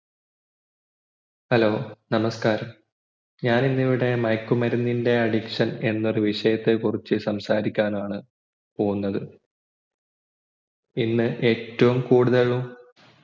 hello നമസ്കാരം ഞാൻ ഇന്ന് ഇവിടെ മയക്കുമരുന്നിൻ്റ addiction എന്ന വിഷയത്തെ കുറിച്ച് സംസാരിക്കാനാണ് പോകുന്നത് ഇന്ന് ഏറ്റവും കൂടുതൽ